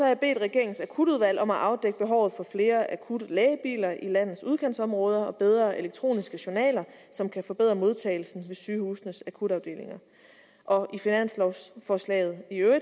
jeg bedt regeringens akutudvalg om at afdække behovet for flere akutlægebiler i landets udkantsområder og bedre elektroniske journaler som kan forbedre modtagelsen ved sygehusenes akutafdelinger og i finanslovforslaget